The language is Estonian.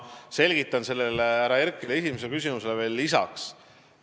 Ma selgitan härra Herkeli esimese küsimuse vastusele veel lisaks.